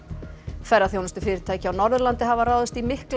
ferðaþjónustufyrirtæki á Norðurlandi hafa ráðist í miklar